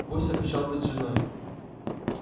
гость обещал быть с женой